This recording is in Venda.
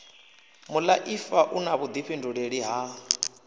muaifa u na vhuifhinduleli ha